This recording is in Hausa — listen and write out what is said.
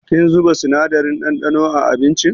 Kin zuba sinadarin ɗanɗano a abincin?